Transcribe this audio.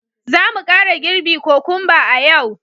Za mu kara girbi kokumba a yau